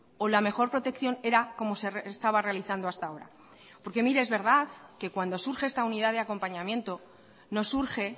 o la mejor protección era como se estaba realizando hasta ahora porque mire es verdad que cuando surge esta unidad de acompañamiento no surge